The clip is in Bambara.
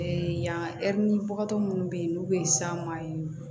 yan minnu bɛ yen n'u bɛ s'an ma yen